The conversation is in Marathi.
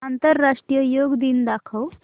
आंतरराष्ट्रीय योग दिन दाखव